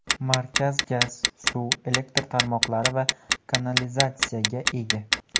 Markaz gaz, suv, elektr tarmoqlari va kanalizatsiyaga ega.